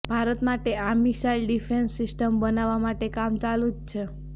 ભારત માટે આ missile defence system બનાવવા માટે કામ ચાલુ જ છે